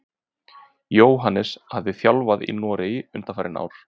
Jóhannes hefur þjálfað í Noregi undanfarin ár.